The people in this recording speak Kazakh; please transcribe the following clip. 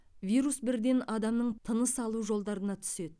вирус бірден адамның тыныс алу жолдарына түседі